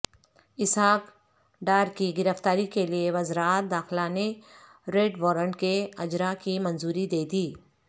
اسحاق ڈارکی گرفتاری کیلئے وزارت داخلہ نے ریڈوارنٹ کےاجرا کی منظوری دیدی